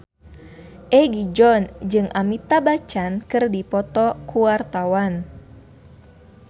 Egi John jeung Amitabh Bachchan keur dipoto ku wartawan